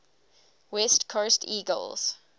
west coast eagles